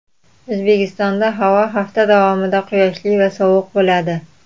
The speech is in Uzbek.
O‘zbekistonda havo hafta davomida quyoshli va sovuq bo‘ladi .